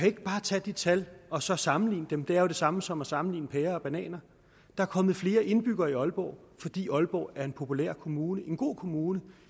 ikke bare tage de tal og så sammenligne dem det er jo det samme som at sammenligne pærer og bananer der er kommet flere indbyggere i aalborg fordi aalborg er en populær kommune en god kommune